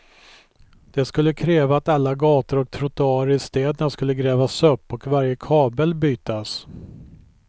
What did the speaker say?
Det skulle kräva att alla gator och trottoarer i städerna skulle grävas upp och varje kabel bytas.